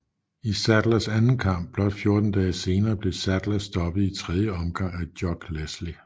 I Saddlers anden kamp blot 14 dage senere blev Saddler stoppet i tredje omgang af Jock Leslie